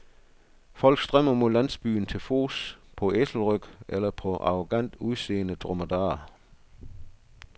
Folk strømmer mod landsbyen, til fods, på æselryg eller på arrogant udseende dromedarer.